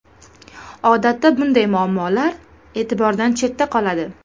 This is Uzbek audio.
Odatda bunday muammolar e’tibordan chetda qoladi.